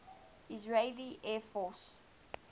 israeli air force